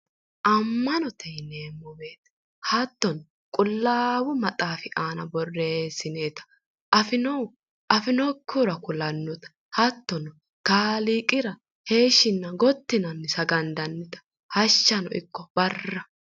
Amma'note yineemmo woyte hattono qullaawu maxaafi aana borreessinoyta afi'nohu afi'nokkihura kulannota hattono kaaliiqira heeshshinna gotti yinanni sagandannita hashshanno ikko barra.